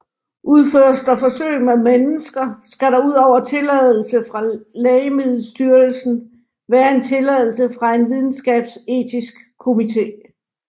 Udføres der forsøg med mennesker skal der udover tilladelse fra Lægemiddelstyrelsen være en tilladelse fra en videnskabsetisk komité